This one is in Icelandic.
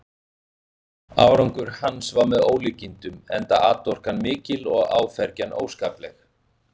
Árangur hans var með ólíkindum, enda atorkan mikil og áfergjan óskapleg.